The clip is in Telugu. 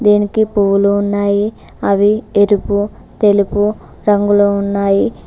దీనికి పువ్వులు ఉన్నాయి అవి ఎరుపు తెలుగు రంగులో ఉన్నాయి.